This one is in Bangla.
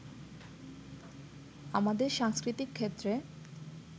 আমাদের সাংস্কৃতিক ক্ষেত্রে